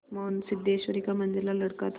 मोहन सिद्धेश्वरी का मंझला लड़का था